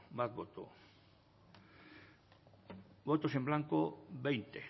bat boto votos en blanco veinte